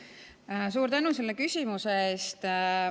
Suur tänu selle küsimuse eest!